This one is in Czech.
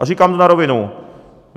A říkám to na rovinu.